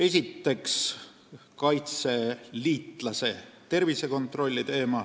Esiteks, kaitseliitlase tervise kontroll.